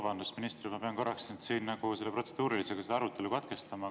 Vabandust, minister, et ma pean korraks protseduurilisega selle arutelu katkestama!